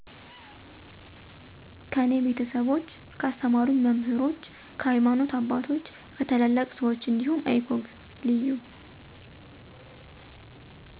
ከኔ ቤተሰቦች፣ ካስተማሩኝ መምህሮች፣ ከሀይማኖተ አባቶች፣ ከታላላቅ ሰወች እንዲሁም icog(leyu